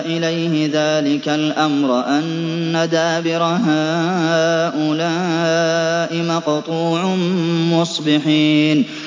إِلَيْهِ ذَٰلِكَ الْأَمْرَ أَنَّ دَابِرَ هَٰؤُلَاءِ مَقْطُوعٌ مُّصْبِحِينَ